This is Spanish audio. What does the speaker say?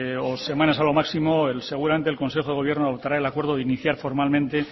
o semanas a lo máximo seguramente el consejo de gobierno adoptará el acuerdo de iniciar formalmente